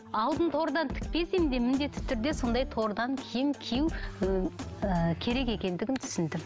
алтын тордан тікпеспең де міндетті түрде сондай тордан киім кию ыыы керек екендігін түсіндім